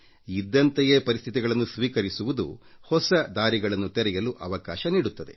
ಇದ್ದಂತೆಯೇ ಪರಿಸ್ಥಿತಿಗಳನ್ನು ಸ್ವೀಕರಿಸುವುದು ಹೊಸ ದಾರಿಗಳನ್ನು ತೆರೆಯಲು ಅವಕಾಶ ನೀಡುತ್ತದೆ